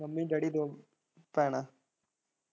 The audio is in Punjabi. ਮੰਮੀ ਡੈਡੀ, ਦੋ ਭੈਣਾਂ।